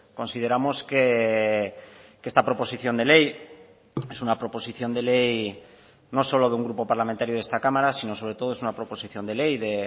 consideramos que esta proposición de ley es una proposición de ley no solo de un grupo parlamentario de esta cámara sino sobre todo es una proposición de ley de